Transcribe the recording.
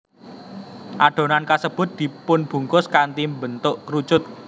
Adonan kasebut dipunbungkus kanthi mbentuk kerucut